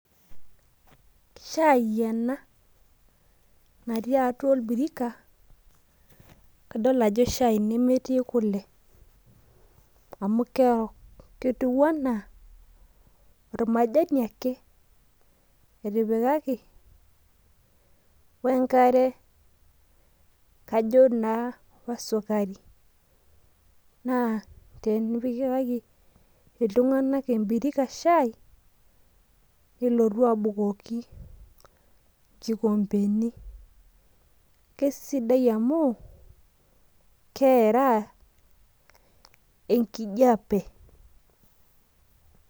shai ena natii atua orbirika naa metii kule amu kerok ormajani ake wengare ,kajo naa wesukari naa timikaki iltung'anak shai ebirika, nilotu apikaki ikikompeni, kesidai amu keeraa enkijape.